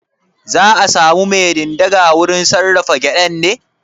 Za'a samu mai ɗin daga wurin sarrafa gyaɗan ne?